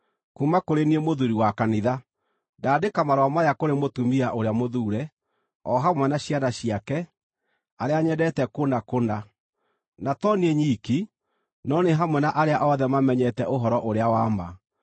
Kuuma kũrĩ niĩ Mũthuuri wa Kanitha, Ndaandĩka marũa maya kũrĩ mũtumia ũrĩa mũthuure, o hamwe na ciana ciake, arĩa nyendete kũna kũna, na to niĩ nyiki, no nĩ hamwe na arĩa othe mamenyete ũhoro ũrĩa wa ma: